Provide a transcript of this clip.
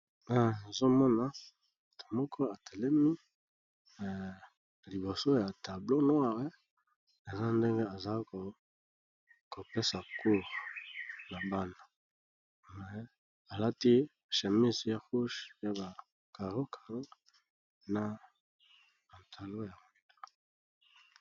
Awa nazomona mutu moko atelemi liboso ya tableau noir eza ndenge azakopesa cours na bana , alati chemise ya rouge ya ba carro carro na pantalon ya chocolat.